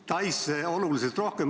Taisse on investeeritud oluliselt rohkem.